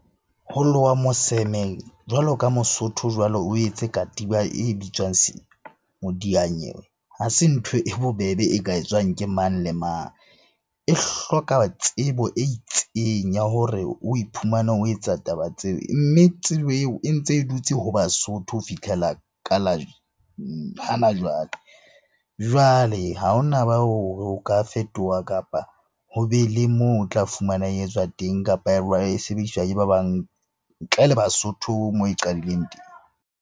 Ho lowa moseme jwalo ka mosotho jwalo o etse katiba e bitswang modiyanyewe ha se ntho e bobebe e ka etswang ke mang le mang? E hloka tsebo e itseng ya hore o iphumane o etsa taba tseo, mme tsebo eo e ntse e dutse ho Basotho ho fitlhela ka la hana jwale. Jwale ha hona ho ka fetoha, kapa ho be le moo o tla fumana e etswa teng, kapa e sebediswa ke ba bang ntle le Basotho moo e qadileng teng.